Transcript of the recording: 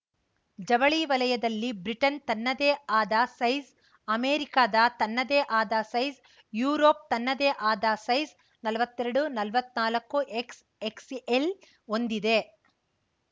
ಜವಳಿ ವಲಯದಲ್ಲಿ ಬ್ರಿಟನ್‌ ತನ್ನದೇ ಆದ ಸೈಜ್‌ ಅಮೆರಿಕದ ತನ್ನದೇ ಆದ ಸೈಜ್‌ ಯುರೋಪ್‌ ತನ್ನದೇ ಆದ ಸೈಜ್‌ ನಲ್ವತ್ತೆರಡು ನಲವತ್ತ್ನಾಲ್ಕು ಎಕ್ಸ್‌ ಎಕ್ಸ್‌ಎಲ್‌ ಹೊಂದಿದೆ